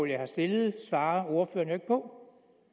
jeg har stillet svarer ordføreren ikke på